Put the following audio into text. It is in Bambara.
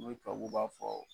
Ne Fabu ka b'a fɔ.